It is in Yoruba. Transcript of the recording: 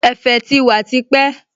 Ẹ̀fẹ̀ ti wà tipẹ́